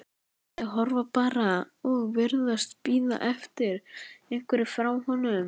Þau horfa bara og virðast bíða eftir einhverju frá honum.